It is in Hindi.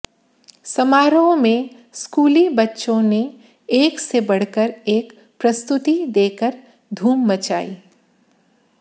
समारोह में स्कूली बच्चों ने एक से बढ़कर एक प्रस्तुति देकर धूम मचाई